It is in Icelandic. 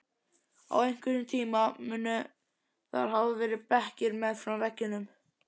Á einhverjum tíma munu þar hafa verið bekkir meðfram veggjum.